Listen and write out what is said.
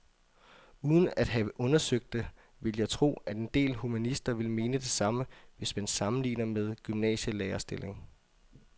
Uden at have undersøgt det vil jeg tro, at en del humanister vil mene det samme, hvis man sammenligner med en gymnasielærerstilling.